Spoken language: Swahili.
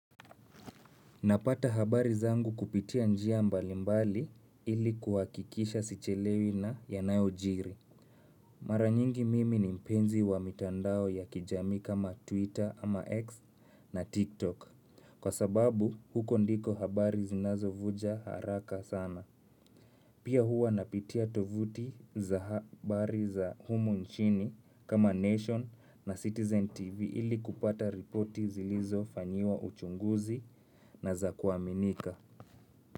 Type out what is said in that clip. Napata habari zangu kupitia njia mbalimbali ili kuhakikisha sichelewi na yanayojiri. Mara nyingi mimi ni mpenzi wa mitandao ya kijamii kama Twitter ama X na TikTok. Kwa sababu huko ndiko habari zinazovuja haraka sana. Pia huwa napitia tovuti za habari za humu nchini kama Nation na Citizen TV ili kupata ripoti zilizofanyiwa uchunguzi na za kuaminika.